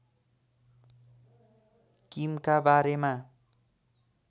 किमका बारेमा